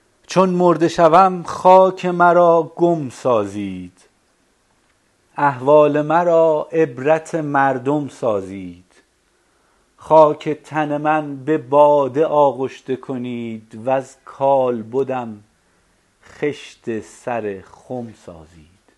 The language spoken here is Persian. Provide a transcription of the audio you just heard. چون مرده شوم خاک مرا گم سازید احوال مرا عبرت مردم سازید خاک تن من به باده آغشته کنید وز کالبدم خشت سر خم سازید